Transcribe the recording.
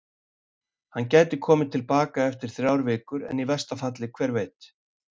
Hann gæti komið til baka eftir þrjár vikur en í versta falli, hver veit?